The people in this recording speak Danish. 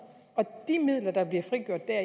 de midler der blev frigjort der